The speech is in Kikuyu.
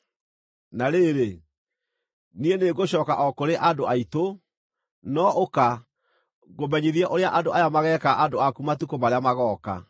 Na rĩrĩ, niĩ nĩngũcooka o kũrĩ andũ aitũ, no ũka, ngũmenyithie ũrĩa andũ aya mageeka andũ aku matukũ marĩa magooka.”